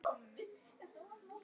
Annað ekki.